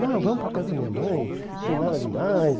Não, vamos para a casa da minha mãe, não tem nada de mais.